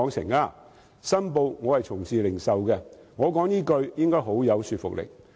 我要申報，我從事零售業，我說出這句話應該很有說服力。